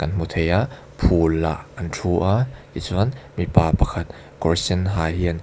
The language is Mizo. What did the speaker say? hmu thei a phul ah an thu a tichuan mipa pakhat kawr sen ha hian--